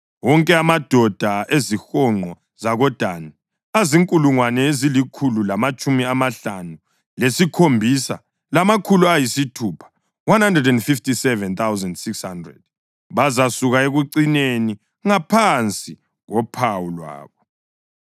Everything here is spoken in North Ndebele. Wonke amadoda ezihonqo zakoDani azinkulungwane ezilikhulu lamatshumi amahlanu lesikhombisa, lamakhulu ayisithupha (157,600). Bazasuka ekucineni, ngaphansi kophawu lwabo.